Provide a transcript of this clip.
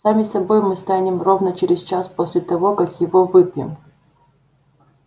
сами собой мы станем ровно через час после того как его выпьем